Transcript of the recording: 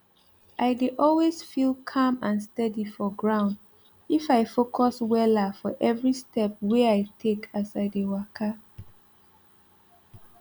i dey always feel calm and steady for ground if i focus wella for every step wey i take as i dey waka